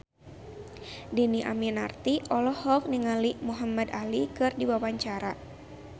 Dhini Aminarti olohok ningali Muhamad Ali keur diwawancara